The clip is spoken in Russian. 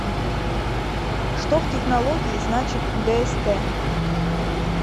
что в технологии значит дст